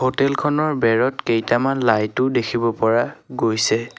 Hotel খনৰ বেৰত কেইটামান লাইট ও দেখিব পৰা গৈছে।